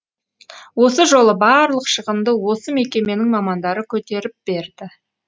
осы жолы барлық шығынды осы мекеменің мамандары көтеріп берді